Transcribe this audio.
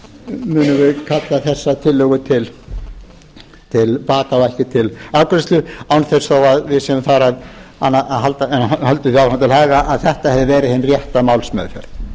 kalla þessa tillögu til baka og ekki til afgreiðslu án þess þó að við séum þar að við höldum því áfram til haga að þetta hefði verið hin rétta málsmeðferð einnig líka fluttum